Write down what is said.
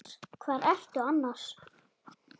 Hvar ertu annars?